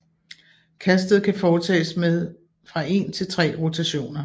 Kastet kan foretages med fra en til tre rotationer